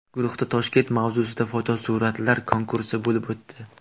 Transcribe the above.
Guruhda Toshkent mavzusida fotosuratlar konkursi bo‘lib o‘tdi.